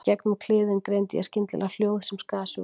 Í gegnum kliðinn greindi ég skyndilega hljóð sem skar sig úr.